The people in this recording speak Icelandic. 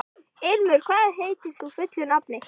Ilmur, hvað heitir þú fullu nafni?